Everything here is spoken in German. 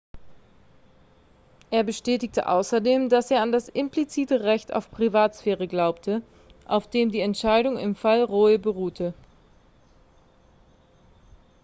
er bestätigte außerdem dass er an das implizite recht auf privatsphäre glaube auf dem die entscheidung im fall roe beruhe